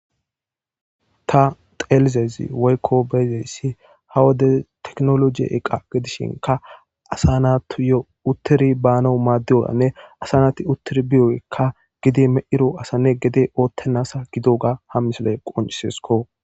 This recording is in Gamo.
ta xelizesi woykko beyzeyssi hawade teknologi eqa gedishinka asanatuyo uttiri baano maaddioranne asanati uttiri biyokka gidi me'ro asanne gede ootteasa gido ga ha misoley qoncisesko